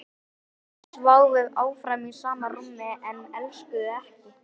Þau sváfu áfram í sama rúmi en elskuðust ekki.